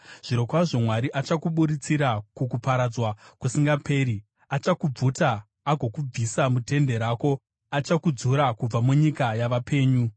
Zvirokwazvo Mwari achakuburutsira kukuparadzwa kusingaperi: Achakubvuta agokubvisa mutende rako; achakudzura kubva munyika yavapenyu. Sera